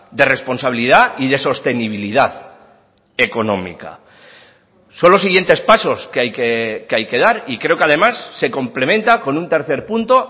de responsabilidad y de sostenibilidad económica son los siguientes pasos que hay que dar y creo que además se complementa con un tercer punto